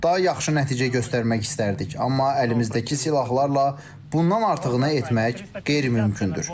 Daha yaxşı nəticə göstərmək istərdik, amma əlimizdəki silahlarla bundan artıq nə etmək qeyri-mümkündür.